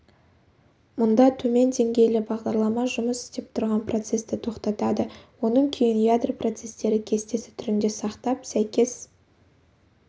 мұнда төмен деңгейлі бағдарлама жұмыс істеп тұрған процесті тоқтатады оның күйін ядро процестері кестесі түрінде сақтап сәйкес